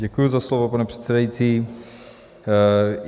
Děkuji za slovo, pane předsedající.